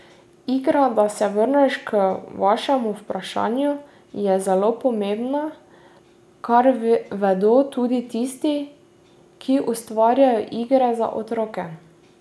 Igra, da se vrnem k vašemu vprašanju, je zelo pomembna, kar vedo tudi tisti, ki ustvarjajo igre za otroke.